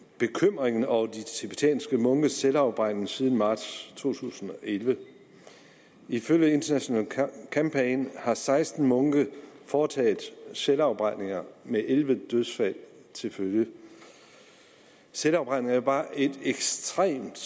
bekymringen over de tibetanske munkes selvafbrændinger siden marts to tusind og elleve ifølge international campaign har seksten munke foretaget selvafbrændinger med elleve dødsfald til følge selvafbrænding er jo bare et ekstremt